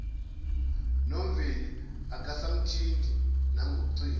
nomveli akasamthinti nangocingo